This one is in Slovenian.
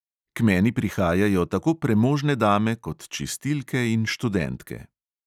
K meni prihajajo tako premožne dame kot čistilke in študentke.